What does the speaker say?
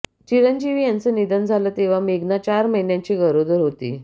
चिरंजीवी यांचं निधन झालं तेव्हा मेघना चार महिन्यांची गरोदर होती